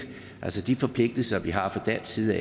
altså de forpligtelser vi har fra dansk side